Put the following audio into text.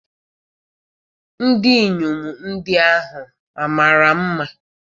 ndinyom ndi ahu mara nma?